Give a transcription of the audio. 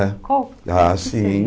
Ah, Qual Ah sim.